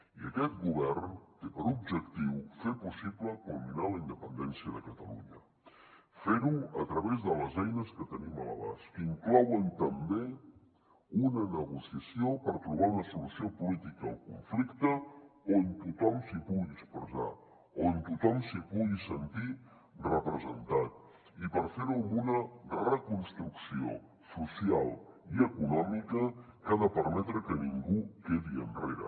i aquest govern té per objectiu fer possible culminar la independència de catalunya fer ho a través de les eines que tenim a l’abast que inclouen també una negociació per trobar una solució política al conflicte on tothom s’hi pugui expressar on tothom s’hi pugui sentir representat i per fer ho amb una reconstrucció social i econòmica que ha de permetre que ningú quedi enrere